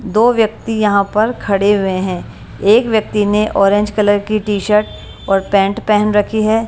दो व्यक्ती यहां पर खड़े हुए हैं एक व्यक्ति ने ऑरेंज कलर की टी शर्ट और पैंट पेहन रखी है।